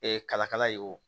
Ee kalakala ye o